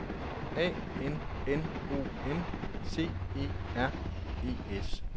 A N N O N C E R E S